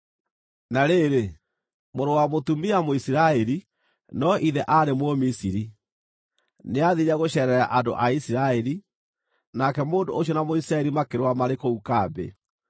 Na rĩrĩ, mũrũ wa mũtumia Mũisiraeli, no ithe aarĩ Mũmisiri, nĩathiire gũceerera andũ a Isiraeli, nake mũndũ ũcio na Mũisiraeli makĩrũa marĩ kũu kambĩ.